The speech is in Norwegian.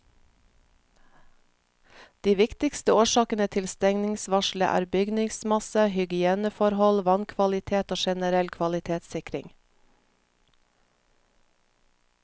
De viktigste årsakene til stengningsvarselet er bygningsmasse, hygieneforhold, vannkvalitet og generell kvalitetssikring.